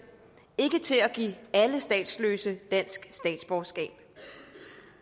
ikke til at give alle statsløse den statsborgerskab